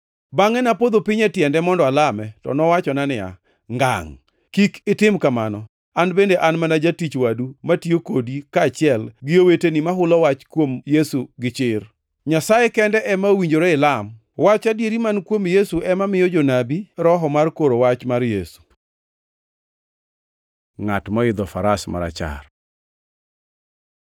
Bangʼe napodho piny e tiende mondo alame. To nowachona niya, “Ngangʼ! Kik itim kamano! An bende an mana jatich wadu matiyo kodi kaachiel gi oweteni mahulo wach kuom Yesu gichir. Nyasaye kende ema owinjore ilam! Wach adieri man kuom Yesu ema miyo jonabi Roho mar koro wach mar Yesu.” Ngʼat moidho faras marachar